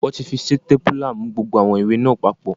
Wọ́n ti fi sítépúlà mú gbogbo àwọn ìwé náà papọ̀